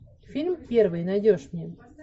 фильм первый найдешь мне